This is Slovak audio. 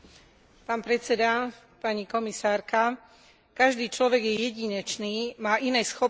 Každý človek je jedinečný, má iné schopnosti, iné priority, iný spôsob života.